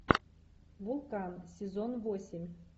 вулкан сезон восемь